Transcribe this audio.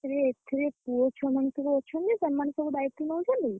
ଆରେ ଏଥେରେ ପୁଅ ଛୁଆମାନେ ସବୁ ଅଛନ୍ତି ସେମାନେ ସବୁ ଦାୟିତ୍ଵ ନଉଛନ୍ତି।